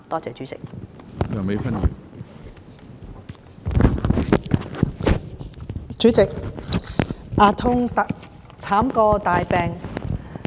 主席，"牙痛慘過大病"。